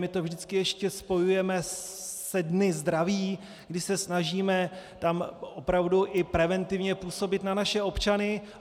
My to vždycky ještě spojujeme se dny zdraví, kdy se snažíme tam opravdu i preventivně působit na naše občany.